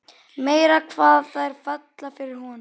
Meira hvað þær falla fyrir honum!